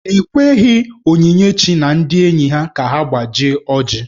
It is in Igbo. E kweghi Onyinyechi na ndị enyi ka ha gbajie ọjị.